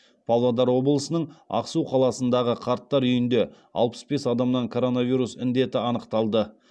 павлодар облысының ақсу қаласындағы қарттар үйінде алпыс бес адамнан коронавирус індеті анықталды